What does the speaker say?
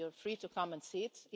You're free to come and see it.